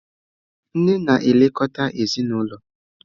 Nne na-elekọta ezinụlọ.